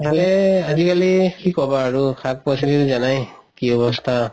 ভালে আজিকালি কি কবা আৰু শাক-পাচলি জনাই আৰু কি অৱস্থা